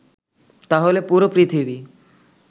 তাহলে পুরো পৃথিবী